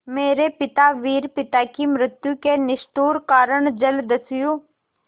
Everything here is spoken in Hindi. मेरे पिता वीर पिता की मृत्यु के निष्ठुर कारण जलदस्यु